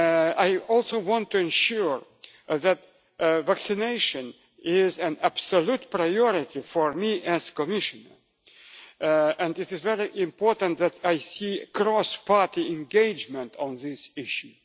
I also want to ensure that vaccination is an absolute priority for me as Commissioner and it is very important that I see cross-party engagement on this